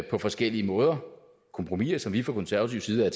på forskellige måder kompromiser som vi fra konservatives side er